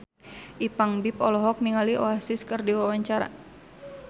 Ipank BIP olohok ningali Oasis keur diwawancara